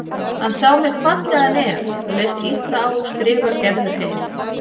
Hann sá mitt fallega nef og leist illa á skrifar Gerður heim.